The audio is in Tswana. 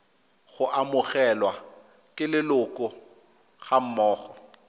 go amogelwa ke leloko gammogo